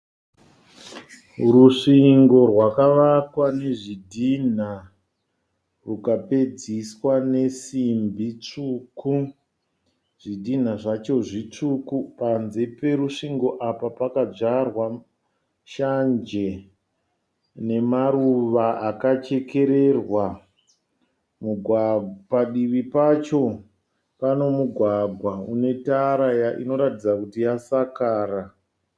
Rusvingo rwakawakwa nezvidhina rukapedziswa nesimbi tsvuku. Zvidhina zvacho zvitsvuku. Panze perusvingo apa pakadyarwa shanje nemaruva akachekererwa. Padivi pacho pane mugwagwa unetara inoratidza kuti yasakara.